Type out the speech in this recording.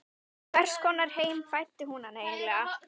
Í hvers konar heim fæddi hún hann eiginlega?